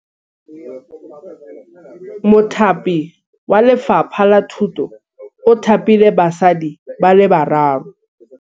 Mothapi wa Lefapha la Thutô o thapile basadi ba ba raro.